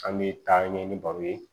An bɛ taa ɲɛ ni baro ye